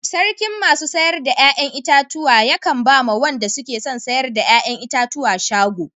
Sarkin masu sayar da yayan itatuwa be kan ba ma wande suke son sayar da yayan itatuwa shago.